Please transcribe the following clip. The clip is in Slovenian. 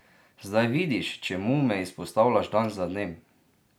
Zdaj vidiš, čemu me izpostavljaš dan za dnem?